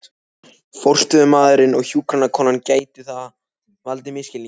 forstöðumaðurinn og hjúkrunarkonan, gæti það valdið misskilningi.